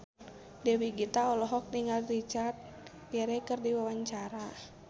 Dewi Gita olohok ningali Richard Gere keur diwawancara